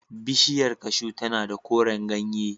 Bishiyar cashew tana da koren ganye.